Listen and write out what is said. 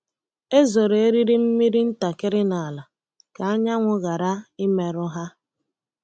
E zoro eriri mmiri ntakịrị n’ala ka anyanwụ ghara imerụ ha.